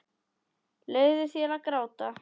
Leyfðu þér að gráta.